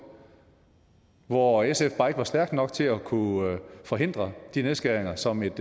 hvor sf bare ikke var stærk nok til at kunne forhindre de nedskæringer som et